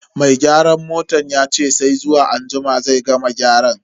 Mai gyaran motan yace sai zuwa anjima zai gama gyaran.